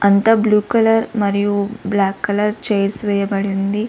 అంత blue colour మరియు black colour chairs వేయబడి ఉంది.